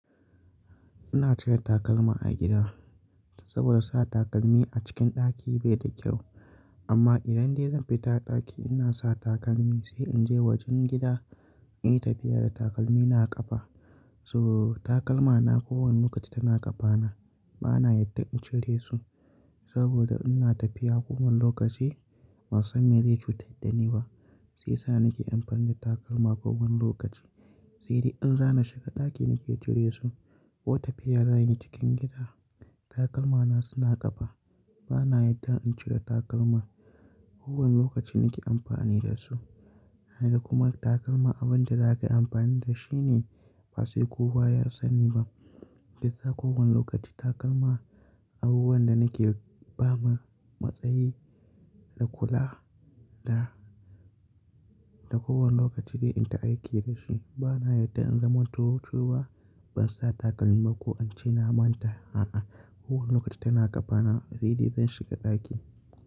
Ina cire takalma a gida saboda sa takalmi a cikin ɗaki bai da kyau. Amma idan dai zan fita ɗaki ina sa takalmi sai in je wajen gida in yi tafiya da takalmi na a ƙafa. So takalma na kowanne lokaci tana ƙafa na. Bana yadda in cire su saboda ina tafiya kuma lokaci ban san me zai cutar da ni ba, shi yasa nake amfani da takalma kowanne lokaci. Sai dai in za ni shiga ɗaki nake cire su ko tafiya zan yi cikin gida, takalma na suna ƙafa. Bana yadda in cire takalma kowanne lokaci nake amfani da su. Haka kuma takalma abin da zakayi amfani da shi ne, ba sai kowa ya sani ba. Shi yasa kowanne lokaci takalma abubuwan da nake fama matsayi da kula da da kowanne lokaci dai in dinga aiki da shi. Bana yadda in zamanto cewa ban sa takalmi ba ko ance na manta a'a kowanne lokaci tana ƙafa na sai dai zan shiga ɗaki.